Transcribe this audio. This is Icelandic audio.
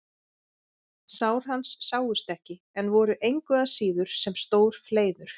Sár hans sáust ekki en voru engu að síður sem stór fleiður.